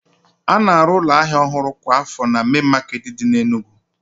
A na-arụ ụlọ ahịa ọhụrụ kwa afọ na mein maketi di na Enugu